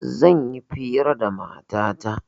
Zan yi fira da matata